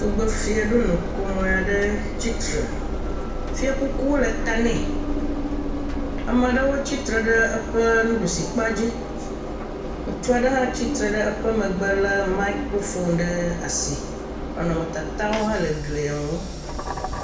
Tugbefia aɖe nɔ kɔmoe aɖe tsitre, fiakuku le tanɛ, ame aɖewo tsitre ɖe eƒe nuɖusi kpa dzi ŋutsu aɖe hã tsutre ɖe eƒe megbe lé mikrofon ɖe asi, nɔnɔmetatawo hã le glia ŋu